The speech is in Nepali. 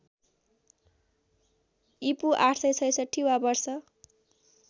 ईपू ८६६ वा वर्ष